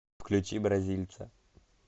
включи бразильца